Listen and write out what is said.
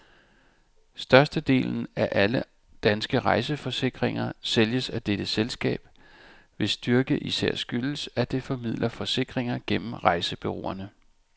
Størstedelen af alle danske rejseforsikringer sælges af dette selskab, hvis styrke især skyldes, at det formidler forsikringer gennem rejsebureauerne.